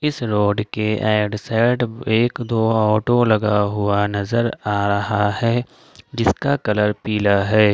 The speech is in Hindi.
इस रोड के और एंड साइड एक दो ऑटो लगा हुआ नजर आ रहा है जिसका कलर पीला है।